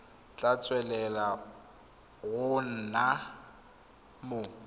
tla tswelela go nna mo